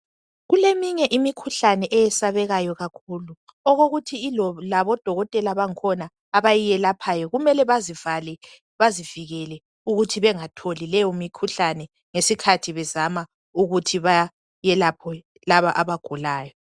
Kuleminye imikhuhlane eyesabekayo kakhulu okokuthi labodokothela bangikhona abayelaphayo kumele bazivale bazivikele ukuthi bengatholi leyo mikhuhlane ngesikhathi bezama ukuthi bayelaphwe laba abagulayo